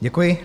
Děkuji.